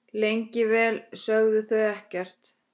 Lengi vel sögðu þau ekkert.